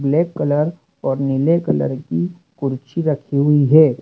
Black colour और नीले colour की कुर्सी रखी हुई है।